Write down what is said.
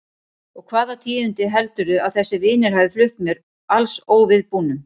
Og hvaða tíðindi heldurðu að þessir vinir hafi flutt mér alls óviðbúnum?